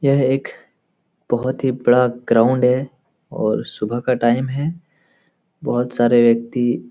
यह एक बहुत ही बड़ा ग्राउंड है और सुबह का टाइम है | बहुत सारे व्यक्ति --